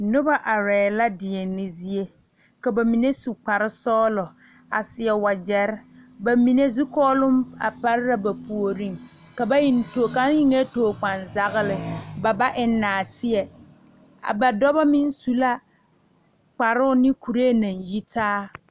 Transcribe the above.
Noba arɛɛ la deɛne zie ka ba mine su kparesɔglɔ a seɛ wagyɛre ba mine zukɔɔloŋ a pare la a ba puoriŋ ka ba eŋ too kaŋ eŋɛɛ tookpanzagle ba ba eŋ naateɛ a ba dɔba meŋ su la kparoo ne kuree naŋ yi taa.